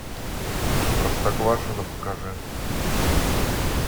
простоквашино покажи